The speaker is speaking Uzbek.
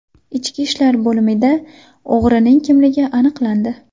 Ichki ishlar bo‘limida o‘g‘rining kimligi aniqlandi.